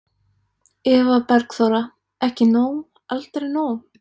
Eva Bergþóra: Ekki nóg, aldrei nóg?